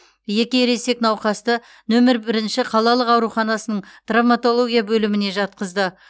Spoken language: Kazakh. екі ересек науқасты нөмірі бірінші қалалық ауруханасының травматология бөліміне жатқызды